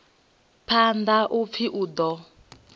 phanḓa u pfi u ḓo